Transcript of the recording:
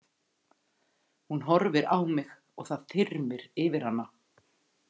Hún horfir á mig og það þyrmir yfir hana.